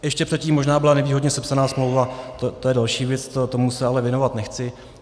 Ještě předtím možná byla nevýhodně sepsána smlouva - to je další věc, tomu se ale věnovat nechci.